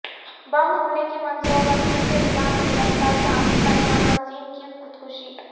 بم حملے کی منصوبہ بندی کے الزام میں گرفتار شامی پناہ گزین کی خودکشی